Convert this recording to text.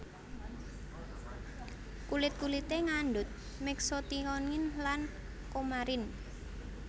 Kulit kulité ngandhut Mexotionin lan coumarin